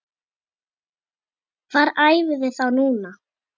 Hvar æfiði þá núna?